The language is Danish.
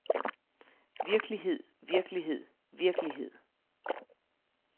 virkelighed virkelighed virkelighed